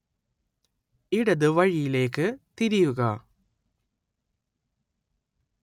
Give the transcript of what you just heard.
ഇടത് വഴിയിലേക്ക് തിരിയുക